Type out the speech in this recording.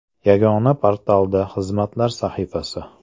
Yagona portalda “Xizmatlar” sahifasi.